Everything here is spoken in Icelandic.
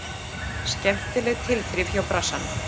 Skemmtileg tilþrif hjá Brassanum.